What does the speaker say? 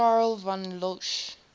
karl von loesch